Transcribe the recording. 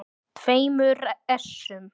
tveimur essum.